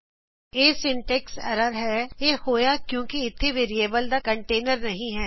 ਇਹ syntax error ਹੈ ਇਹ ਹੋਇਆ ਕਿਉਕਿਂ ਇਥੇ ਵੇਰੀਏਬਲ ਦਾ ਕੰਟੇਨਰ ਨਹੀਂ ਹੈ